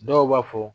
Dɔw b'a fɔ